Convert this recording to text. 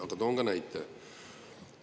Aga toon näite.